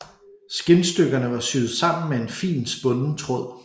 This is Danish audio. Skindstykkerne var syet sammen med en fin spunden tråd